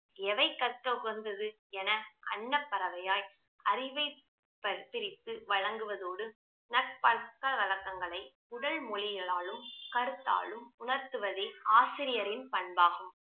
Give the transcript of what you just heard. எவை கற்க உகந்தது என அன்னப்பறவையாய் அறிவைப் ப~ பிரித்து வழங்குவதோடு நற்பழக்கவழக்கங்களை உடல்மொழிளாலும் கருத்தாலும் உணர்த்துவதே ஆசிரியரின் பண்பாகும்